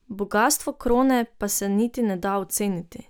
Bogastvo krone pa se niti ne da oceniti.